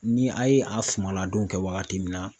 Ni a ye a sumaladon kɛ wagati min na